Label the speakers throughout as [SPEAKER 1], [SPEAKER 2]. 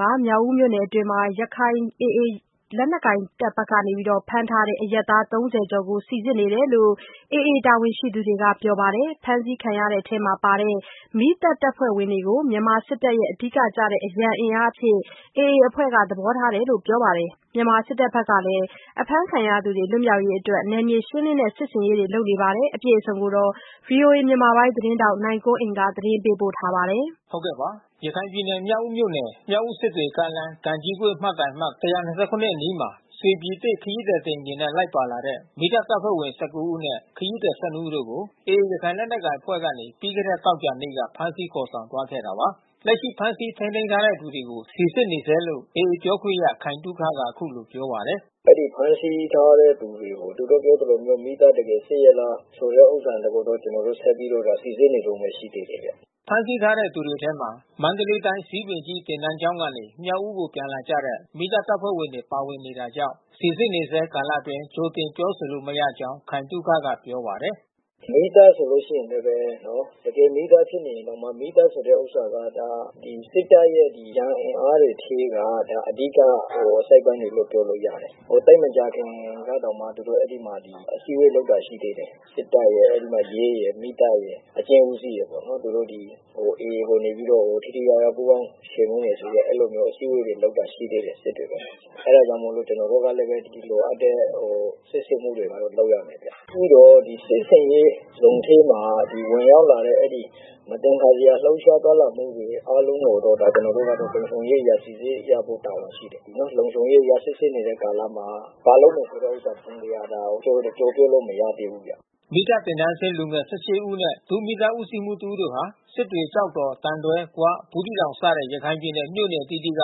[SPEAKER 1] က မြောက်ဦးမြို့နယ်အတွင်းမှာ AA ရခိုင်လက်နက်ကိုင်အဖွဲ့က ဖမ်းထားတဲ့ အရပ်သား ၃၀ ကျော်ကို စီစစ်နေတယ်လို့ AA တာဝန်ရှိသူတွေက ပြောပါတယ်။ ဖမ်းဆီးခံရတဲ့အထဲမှာပါတဲ့ မီးသတ်တပ်ဖွဲ့ဝင်တွေကို မြန်မာစစ်တပ်ရဲ့ အဓိကကျတဲ့ အရန်အင်အားအဖြစ်နဲ့ AA အဖွဲ့က သဘောထားတယ်လို့ ပြောပါတယ်။ မြန်မာစစ်တပ်ဘက်ကလည်း အဖမ်းခံရသူတွေ လွတ်မြောက်ရေးအတွက် နယ်မြေရှင်းလင်းတဲ့ စစ်ဆင်ရေးတွေ လုပ်နေပါတယ်။ ဗွီအိုအေမြန်မာပိုင်း သတင်းထောက်နိုင်ကွန်းအိန်ကနေ သတင်းပေးပို့ထားပါတယ်။
[SPEAKER 2] ရခိုင်ပြည်နယ်၊ မြောက်ဦးမြို့နယ်၊ မြောက်ဦး-စစ်တွေကားလမ်း၊ ကံကြီးကွေ့ မိုင်တိုင်အမှတ် ၁၂၇ အနီးမှာ ရွှေပြည်သစ် ခရီးသည်တင်ယာဉ်နဲ့ လိုက်ပါလာတဲ့ မီးသတ်တပ်ဖွဲ့ဝင် ၁၉ ဦးနဲ့ ခရီးသည် ၁၂ ဦးတို့ကို AA ရခိုင်လက်နက်ကိုင်အဖွဲ့ကနေ ပြီးခဲ့တဲ့သောကြာနေ့က ဖမ်းဆီးခေါ်ဆောင်သွားခဲ့တာပါ။ လက်ရှိ ဖမ်းဆီးထိန်းသိမ်းထားတဲ့ သူတွေကို စီစစ်နေဆဲလို့ AA ပြောခွင့်ရခိုင်သုခက အခုလိုပြောပါတယ်။ “အဲဒီဖမ်းဆီးထားတဲ့သူ
[SPEAKER 3] တွေ သူတို့ပြောသလိုမျိုး မီးသတ်တကယ်စစ်ရဲ့လား ဆိုတဲ့ ဥစ္စာလဲပဲ ကျနော်တို့ ဆက်ပြီးတော့ စီစစ်နေ
[SPEAKER 2] တုန်းပဲ ရှိသေးတယ်ဗျ။” ဖမ်းဆီးထားတဲ့ သူတွေအထဲမှာ မန္တလေးတိုင်း ဇီးပင်ကြီးသင်တန်းကျောင်းကနေ မြောက်ဦးကို ပြန်လာကြတဲ့ မီးသတ်တပ်ဖွဲ့ဝင်တွေ ပါဝင်နေတာကြောင့် စစ်ဆေးနေဆဲကာလအတွင်း ကြိုတင်ပြောဆိုလို့ မရကြောင်း ခိုင်သုခက ပြောပါတယ်။
[SPEAKER 3] “မီးသတ်ဆိုလို့ရှိရင်လည်းပဲ တကယ် မီးသတ်ဖြစ်နေရင်တောင်မှ မီးသတ်ဆိုတဲ့ဥစ္စာက စစ်တပ်ရဲ့ အရန်အင်အားတွေထဲက အဓိကအစိတ်ပိုင်းလို့ ပြောလို့ရတယ်။ သိပ်မကြာခင်ကတောင်မှ သူတို့အဲဒီမှာ အစည်းဝေးလုပ်တာ ရှိသေးတယ်။ စစ်တပ်ရယ်၊ အဲဒီမှာရဲရယ်၊ မီးသတ်ရယ်၊ အကျဉ်းဦးစီးရယ်ပေါ့နော် သူတို့ ဒီ AA ကိုနေပြီးတော့ ထိထိရောက်ရောက်ပူးပေါင်း ချေမှုန်းမယ်ဆိုပြီးတော့ အဲဒီလို အစည်းဝေးတွေ လုပ်တာရှိသေးတယ်။ စစ်တွေမှာ။ အဲတာကြောင့်မို့လို့ကျနော်တို့ဘက်ကလည်း လိုအပ်တဲ့ စစ်ဆေးမှုတွေ လုပ်ရတာဗျ။ ပြီးတော့ စစ်ဆင်ရေးဇုန်ထဲမှာ ဝင်ရောက်လာတဲ့ မသင်္ကာစရာလှုပ်ရှားသွား လာမှုတွေ အားလုံးကိုတော့ ကျနော်တို့ကတော့ လုံခြုံရေးအရ စီစစ်ရမှာ ရှိတယ်။ လုံခြုံရေးအရ စစ်ဆေးနေတဲ့ကာလမှာ ဘာလုပ်မယ်ဆိုတဲ့ဥစ္စာ တစုံတရာ ပြောပေးလို့မရသေးဘူး ခင်ဗျ။
[SPEAKER 2] ” မီးသတ်သင်တန်းဆင်း လူငယ် ၁၈ ယောက်နဲ့ ဒု-မီးသတ်ဦးစီးမှူး တဦးတို့ဟာ စစ်တွေ၊ ကျောက်တော်၊ သံတွဲ၊ ဂွ၊ ဘူးသီးတောင်စတဲ့ ရခိုင်ပြည်နယ် မြို့နယ်အသီးသီးက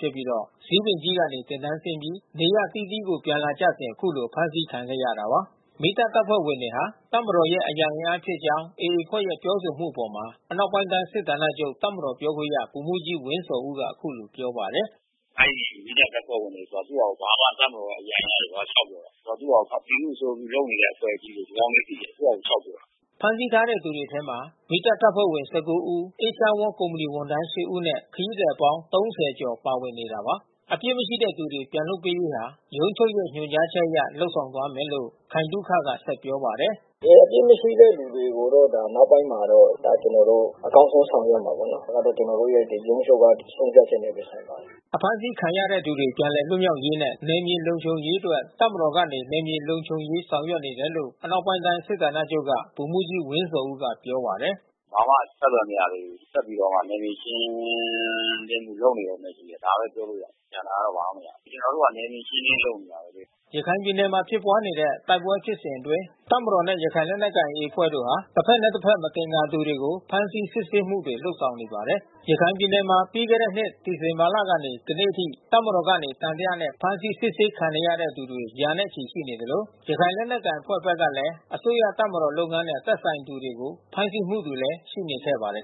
[SPEAKER 2] ဖြစ်ပြီး ဇီးပင်ကြီးကနေ သင်တန်းဆင်းပြီး နေရပ်အသီးသီးကို ပြန်လာကြစဉ်အခုလို အဖမ်းဆီးခံခဲ့ရတာပါ။ မီးတပ်တပ်ဖွဲ့ဝင်တွေဟာ တပ်မတော်ရဲ့အရန ်အင်အားဖြစ်ကြောင်း AA အဖွဲ့ရဲ့ပြောဆိုမှုအပေါ် အနောက်ပိုင်းတိုင်း စစ်ဌာနချုပ ်တပ်မတော်ပြောခွင့်ရ ဗိုလ်မှူးကြီးဝင်းဇော်ဦးက အခုလိုပြောပါတယ်။
[SPEAKER 4] “အဲဒီ မီးသတ်တပ်ဖွဲ့ဝင်တွေဆိုတာ သူ့ဟာဘာမှ တပ်မတော်အရန် အင်အားဘာတွေ လျှောက်ပြောနေတာ။ သူ့ဟာ ပြည်သူ့ အကျိုးပြုလုပ်နေတဲ့ အဖွဲ့အစည်းတွေ။ ဒီကောင်တွေ သိတယ် သူ့ဟာသူလျှောက်ပြောတာ။
[SPEAKER 2] ” ဖမ်းဆီးထားတဲ့ သူတွေအထဲမှာ မီးတပ်အဖွဲ့ဝင် ၁၉ ဦး အေးရှားဝေါလ်ကုမ္ပဏီဝန်ထမ်း ၈ ဦးနဲ့ ခရီးသည်အပေါင်း ၃၀ ကျော ်ပါဝင်နေတာပါ။ အပစ်မရှိတဲ့ လူတွေကိုပြန်လည်လွှတ်ပေးရေးဟာ ရုံးချုပ်ရဲ့ ညွှန်ကြားချက်အရ လုပ်ဆောင်သွားမယ်လို့ ခိုင်သုခက ဆက်ပြောပါတယ်
[SPEAKER 3] ။ “တကယ်အပစ်မရှိတဲ့သူတွေကိုတော့ နောက်ပိုင်းမှာတော့ ဒါကျနော်တို့ အကောင်းဆုံးဆောင်ရွက်မှာပေါ့။ ဒါကျနော်တို့ရဲ့ ရုံးချုပ်ရဲ့ဆုံးဖြတ်ချက်နဲ့ပဲ ဆိုင်ပါ
[SPEAKER 2] တယ်။” အဖမ်းဆီးခံရသူတွေ ပြန်လည်လွတ်မြောက်ရေးနဲ့ နယ်မြေလုံခြုံရေးအတွက် တပ်မတော်ကနေ နယ်မြေလုံခြုံရေး ဆောင်ရွက်နေတယ်လို့ အနောက်ပိုင်းတိုင်းစစ်ဌာနချုပ်က ဗိုလ်မှူးကြီးဝင်းဇော်ဦးက ပြောပါတယ်
[SPEAKER 4] ။ “ဘာမှအဆက်သွယ် မရသေးဘူး။ ဆက်ပြီးတော့မှ နယ်မြေရှင်းလင်းရေး လုပ်နေတာပဲ ဒါပဲပြောလို့ရတယ်။ ကျန်တာတော့ ဘာမှမရဘူး။ ကျနော်တို့က နယ်မြေရှင်းလင်းရေး လုပ်နေတာပဲလေ။
[SPEAKER 2] ” ရခိုင်ပြည်နယ်မှာ ဖြစ်ပွားနေတဲ့ တိုက်ပွဲဖြစ်စဉ်အတွင်း တပ်မတော်နဲ့ ရခိုင်လက်နက်ကိုင် AA တို့ဟာ တဘက်နဲ့ တဘက် မသင်္ကာသူတွေကို ဖမ်းဆီးစစ်ဆေးမှုတွေ လုပ်ဆောင်နေပါတယ်။ ရခိုင်ပြည်နယ်မှာ ပြီးခဲ့တဲ့နှစ် ဒီဇင်ဘာလကနေ ဒီနေ့အထိ တပ်မတော်က သံသယနဲ့ ဖမ်းဆီး စစ်ဆေးခံနေရတဲ့သူ ရာချီရှိနေသလို ရခိုင်
[SPEAKER 4] လက်နက်ကိုင်အဖွဲ့ဘက်ကလည်း အစိုးရတပ်မတော်လုပ်ငန်းနဲ့ သက်ဆိုင်တဲ့သူတွေကို ဖမ်းဆီးမှုတွေ ရှိနေခဲ့ပါတယ်